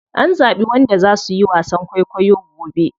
An zaɓi wanda za suyi wasan kwaikwayo gobe.